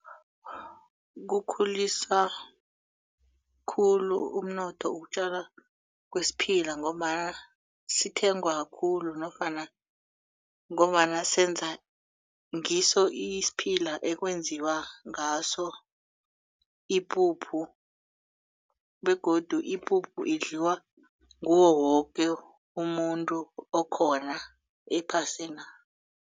Kukhulisa khulu umnotho wokutjala kwesiphila ngombana sithengwa khulu nofana ngombana senza ngiso isiphila ekwenziwa ngaso ipuphu begodu ipuphu idliwa nguwo woke umuntu okhona ephasina.